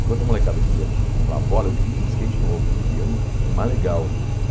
Enquanto a molecada queria comprar uma bola, eu queria um skate novo, eu queria um o mais legal.